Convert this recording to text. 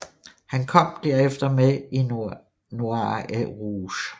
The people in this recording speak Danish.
Han kom derefter med i Noir et Rouge